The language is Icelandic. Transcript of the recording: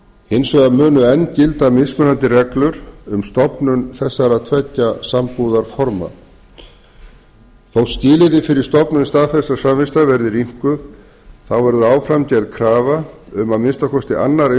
hins vegar munu enn gilda mismunandi reglur um stofnun þessara tveggja sambúðarforma þó skilyrði fyrir stofnun staðfestrar samþykktar verði rýmkuð þá verður áfram gerð krafa um að að minnsta kosti annar